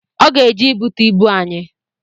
Ọ ga-eje igbute ịbụ anyị